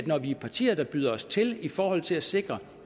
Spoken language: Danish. når vi er partier der byder os til i forhold til at sikre